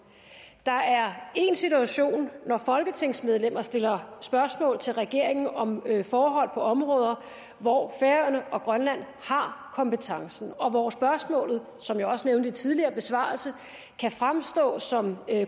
der er én situation når folketingsmedlemmer stiller spørgsmål til regeringen om forhold på områder hvor færøerne og grønland har kompetencen og hvor spørgsmålet som jeg også nævnte tidligere besvarelse kan fremstå som